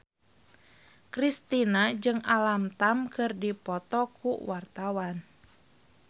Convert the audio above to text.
Kristina jeung Alam Tam keur dipoto ku wartawan